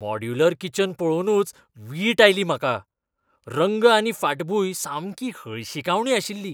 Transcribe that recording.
Modular kitchen पळोवनूच वीट आयली म्हाका. रंग आनी फाटभुंय सामकी हळशिकावणी आशिल्ली.